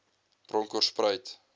bronkoorspruit